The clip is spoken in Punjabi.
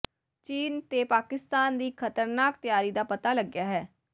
ਚੀਨ ਤੇ ਪਾਕਿਸਤਾਨ ਦੀ ਇਕ ਖ਼ਤਰਨਾਕ ਤਿਆਰੀ ਦਾ ਪਤਾ ਲੱਗਿਆ ਹੈ